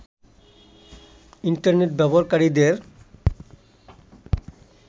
internet ব্যবহারকারীদের